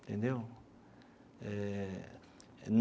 Entendeu? Eh.